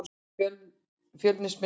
Fjölnismenn jafna.